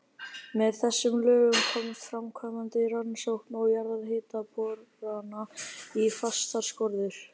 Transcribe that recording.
Með þessum lögum komst framkvæmd rannsókna og jarðhitaborana í fastar skorður.